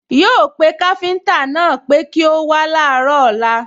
Yóò pé káfíńtà náà pé kí ó wá láàárọ̀ ọ̀lla